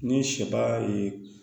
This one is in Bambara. Ni sɛba ye